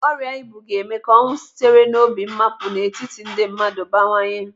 Ọrịa ibu ga-eme ka ọnwụ sitere n'obi mmapu n'etiti ndị mmadụ bawanye.